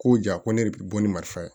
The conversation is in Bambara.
Ko ja ko ne yɛrɛ de bi bɔ ni marifa ye